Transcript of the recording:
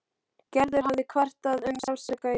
Gerður hafði kvartað um sársauka í.